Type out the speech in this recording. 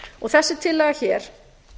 og þessi tillaga hér